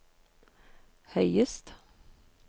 høyest